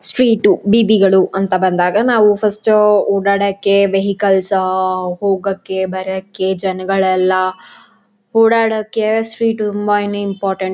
street ಉ ಬೀದಿಗಳು ಅಂತ ಬಂದಾಗ ನಾವು ಫಸ್ಟ್ ಓಡಾಡಕ್ಕೆ ವೆಹಿಕಲ್ಸ್ ಉ ಹೋಗಕ್ಕೆ ಬರಕ್ಕೆ ಜನ್ಗಳೆಲ್ಲ ಓಡಾಡಕ್ಕೆ ಸ್ಟ್ರೀಟ್ ತುಂಬಾನೇ ಇಂಪಾರ್ಟೆಂಟ್ --